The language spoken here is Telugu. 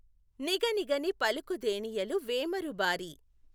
నిగనిగని పలుకుదేనియలు వేమఋబారి